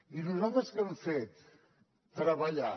i nosaltres què hem fet treballar